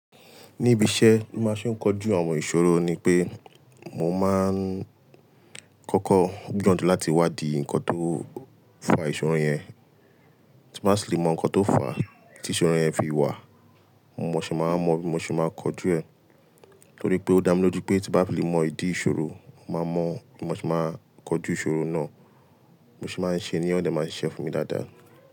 Níbi iṣẹ́ mo máa ń ṣé kojú àwọn ìṣòro ni pé mo máa ń kọ́kọ́ gbìyàn jú láti wádìí ǹkan tó fà ìṣòro yẹn. Tí mo bá fi lè mọ ǹkan tó fà tí ìṣòro yẹn fi wà, mo sẹ̀ máa mọ̀, bímo se máa kọjú ẹ̀. Nítorí pé ó dá mi lójú pé tí bá fi lè mọ ìdí ìṣòro, mo máa mọ̀, bímo se máa kọjú ìṣòro náà. Bímo sì máa ń ṣe é ní ó dẹ̀ máa sì ṣe fún mi dáadáa.